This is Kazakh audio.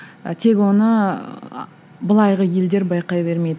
ы тек оны былайғы елдер байқай бермейді